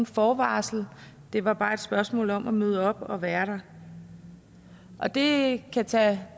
forvarsel det var bare et spørgsmål om at møde op og være der og det kan tage